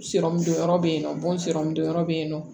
dɔ be yen nɔ don yɔrɔ be yen nɔ